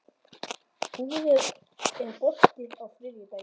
Búri, er bolti á þriðjudaginn?